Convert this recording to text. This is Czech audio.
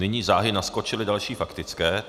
Nyní záhy naskočily další faktické.